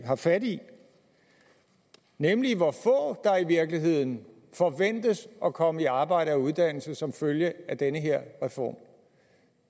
har fat i nemlig hvor få der i virkeligheden forventes at komme i arbejde og uddannelse som følge af den her reform